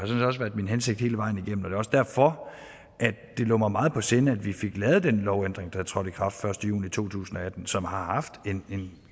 min hensigt hele vejen igennem også derfor at det lå mig meget på sinde vi fik lavet den lovændring der trådte i kraft den første juni to tusind og atten og som har haft en